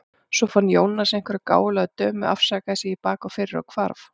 Svo fann Jónas einhverja gáfulega dömu, afsakaði sig í bak og fyrir og hvarf.